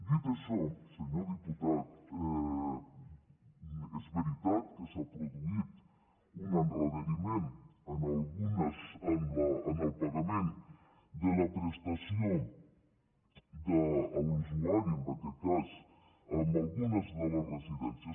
dit això senyor diputat és veritat que s’ha produït un endarreriment en el pagament de la prestació de l’usuari en aquest cas en algunes de les residències